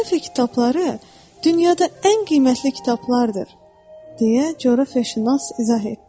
Coğrafiya kitabları dünyada ən qiymətli kitablardır, deyə coğrafiyaşünas izah etdi.